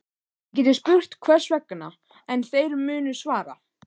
Þið getið spurt hvers vegna, en þeir munu svara